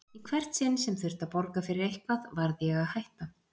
Í hvert sinn sem þurfti að borga fyrir eitthvað varð ég að hætta.